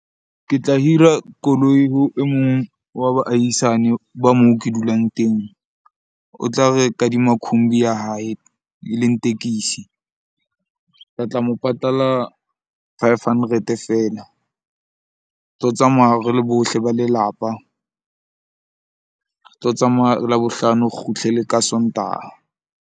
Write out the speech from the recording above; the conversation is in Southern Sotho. Ke tla hira koloi ho e mong wa baahisane ba moo ke dulang teng. O tla re kadima khumbi ya hae e leng tekisi. Re tla mo patala five hundred feela. Re tlo tsamaya re le bohle ba lelapa. Re tlo tsamaya Labohlano, kgutle le ka Sontaha.